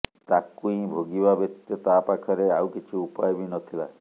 ତାକୁଇ ଭୋଗିବା ବ୍ୟତୀତ ତା ପାଖରେ ଆଉ କିଛି ଉପାୟ ବି ନଥିଲା